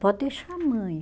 Pode deixar mãe.